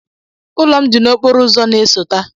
Ụlọ m dị n'okporo ụzọ na-esote.